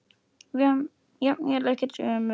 Jafnvel ekki ömmur.